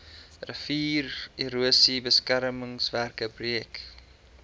riviererosie beskermingswerke projek